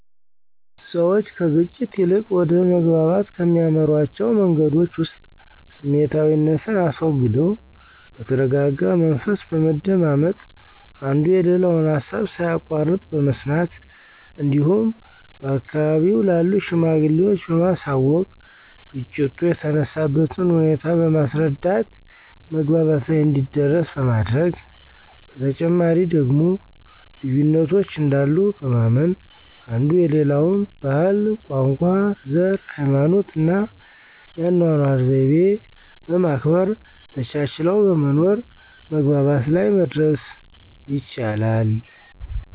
ሰዎች ከግጭት ይልቅ ወደ መግባባት ከሚያመሯቸዉ መንገዶች ዉስጥ ስሜታዊነትን አስወግደው በተረጋጋ መንፈስ በመደማመጥ፣ አንዱ የሌላውን ሀሳብ ሳያቋርጥ በመስማት እንዲሁም በአካባቢው ላሉ ሽማግሌዎች በማሳወቅ ግጭቱ የተነሳበትን ሁኔታ በማስረዳት መግባባት ላይ እንዲደረስ በማድረግ፤ በተጨማሪ ደግሞ ልዩነቶች እንዳሉ በማመን አንዱ የሌላውን ባህል፣ ቋንቋ፣ ዘር፣ ሀይማኖትና የአኗኗር ዘይቤ በማክበር ተቻችለው በመኖር መግባባት ላይ መድረስ ይቻላል።